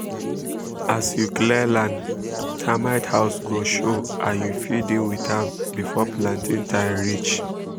as you clear land termite house go show and you fit deal with am before planting time reach um